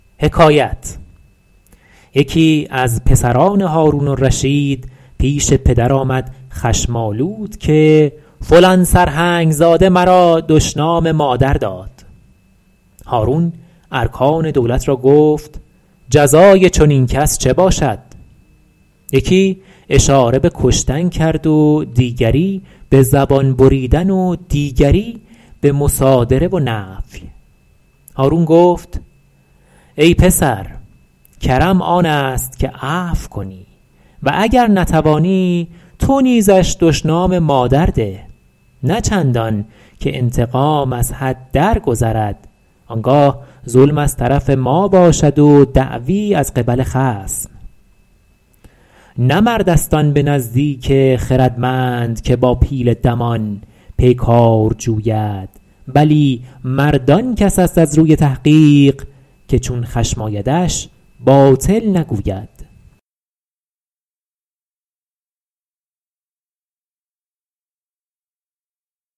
یکی از پسران هارون الرشید پیش پدر آمد خشم آلود که فلان سرهنگ زاده مرا دشنام مادر داد هارون ارکان دولت را گفت جزای چنین کس چه باشد یکی اشاره به کشتن کرد و دیگری به زبان بریدن و دیگری به مصادره و نفی هارون گفت ای پسر کرم آن است که عفو کنی و گر نتوانی تو نیزش دشنام مادر ده نه چندان که انتقام از حد درگذرد آن گاه ظلم از طرف ما باشد و دعوی از قبل خصم نه مرد است آن به نزدیک خردمند که با پیل دمان پیکار جوید بلی مرد آن کس است از روی تحقیق که چون خشم آیدش باطل نگوید